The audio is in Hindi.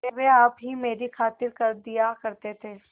वे आप ही मेरी खातिर कर दिया करते थे